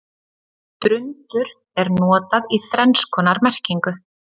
Drundur er notað í þrenns konar merkingu.